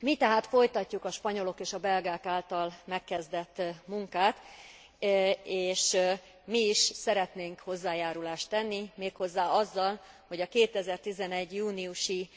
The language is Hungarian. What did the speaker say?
Mi tehát folytatjuk a spanyolok és a belgák által megkezdett munkát és mi is szeretnénk hozzájárulást tenni, méghozzá azzal, hogy a 2011. júniusi